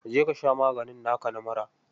Je ka sha maganin naka na mura.